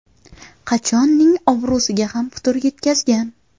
Qachon?”ning obro‘siga ham putur yetkazgan.